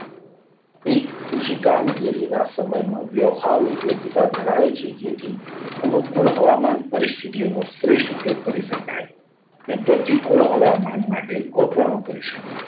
એક ઋષિ કામગીરીના સમયમાં વ્યવહારો ઉપયોગીતા ધરાવે છે. જેથી અનુકૂળ હવામાન પરિસ્થિતિઓનો શ્રેષ્ઠ ઉપયોગ કરી શકાય.